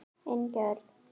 Ingi Örn.